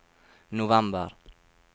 november